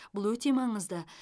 бұл өте маңызды